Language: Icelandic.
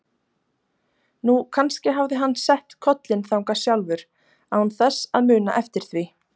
Nú, kannski hafði hann sett kollinn þangað sjálfur án þess að muna eftir því.